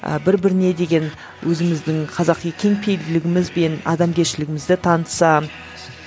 ы бір біріне деген өзіміздің қазақи кең пейілділігіміз бен адамгершілігімізді танытса